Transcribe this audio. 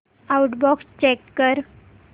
outbox check कर